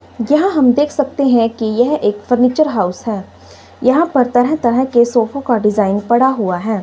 यहां हम देख सकते हैं कि यह एक फर्नीचर हाउस है यहां पर तरह तरह के सोफों का डिजाइन पड़ा हुआ है।